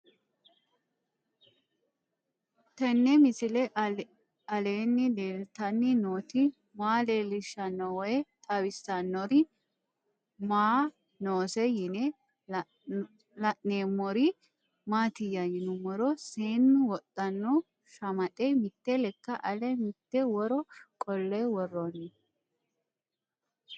Tenni misile aleenni leelittanni nootti maa leelishshanno woy xawisannori may noosse yinne la'neemmori maattiya yinummoro seennu wodhanno shamaxxe mitte lekka ale mitte woro qole woroonni